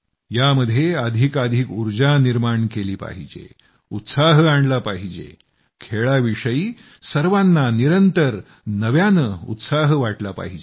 यामध्ये अधिकाधिक ऊर्जा निर्माण केली पाहिजे उत्साह आणला पाहिजे क्रीडा विषयी सर्वांना निरंतर नव्यानं उत्साह वाटला पाहिजे